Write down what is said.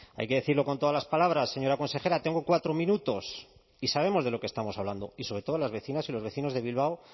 hay que decirlo con todas las palabras señora consejera tengo cuatro minutos y sabemos de lo que estamos hablando y sobre todas las vecinas y los vecinos de bilbao